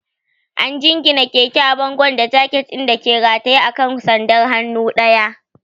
An jingine keke a bango da jaket ɗin da ke rataye a kan sandar hannu ɗaya.